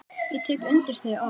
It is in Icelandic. Ég tek undir þau orð.